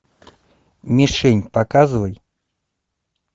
мишень показывай